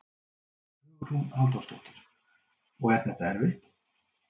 Hugrún Halldórsdóttir: Og er þetta erfitt?